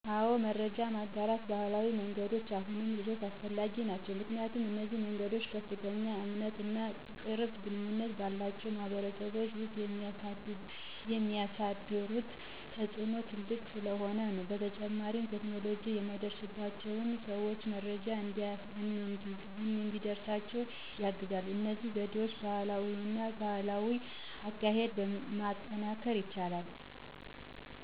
አወ መረጃ የማጋራት ባህላዊ መንገዶች አሁንም ድረስ አስፈላጊ ናቸዉ። ምክንያቱም፣ እነዚህ መንገዶች ከፍተኛ እምነት እና ቅርብ ግንኙነት ባላቸው ማህበረሰቦች ውስጥ የሚያሳድሩት ተፅእኖ ትልቅ ስለሆነ ነው። በተጨማሪም ቴክኖሎጂ የማይደርስባቸውን ሰዎች መረጃ እንዲደርሳቸው ያግዛሉ። እነዚህ ዘዴዎች ባህላዊነት እና ማህበራዊ አካሄድን ማጠናከርም ይችላሉ።